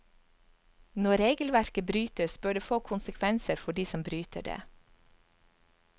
Når regelverket brytes, bør det få konsekvenser for de som bryter det.